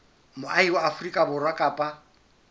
moahi wa afrika borwa kapa